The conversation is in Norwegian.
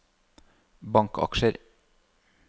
bankaksjer